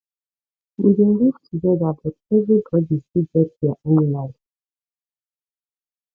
we dey live togeda but everybodi still get their own life